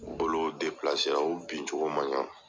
N bolo o bin cogo man ɲa.